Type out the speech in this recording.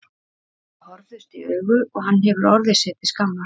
Þau horfðust í augu og hann hefur orðið sér til skammar.